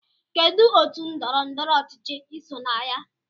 Kedụ otú ndọrọ ndọrọ ọchịchị iso na ya?